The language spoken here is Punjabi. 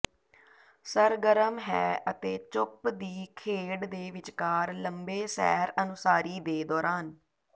ਸਰਗਰਮ ਹੈ ਅਤੇ ਚੁੱਪ ਦੀ ਖੇਡ ਦੇ ਵਿਚਕਾਰ ਲੰਬੇ ਸੈਰ ਅਨੁਸਾਰੀ ਦੇ ਦੌਰਾਨ